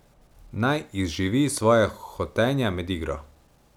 Naj izživi svoja hotenja med igro.